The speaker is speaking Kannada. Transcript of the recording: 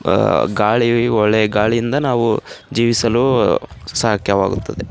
ಆಹ್ಹ್ ಗಾಳಿ ಒಳ್ಳೆ ಗಾಳಿಯಿಂದ ನಾವು ಜೀವಿಸಲು ಸಾಧ್ಯವಾಗುತ್ತದೆ.